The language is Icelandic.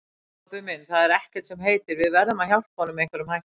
Kobbi minn, það er ekkert sem heitir, við verðum að hjálpa honum með einhverjum hætti